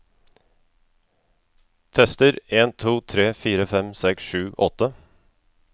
Tester en to tre fire fem seks sju åtte